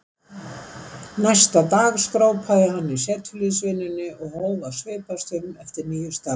Næsta dag skrópaði hann í setuliðsvinnunni og hóf að svipast um eftir nýju starfi.